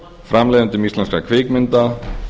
framleiðendum íslenskra kvikmynda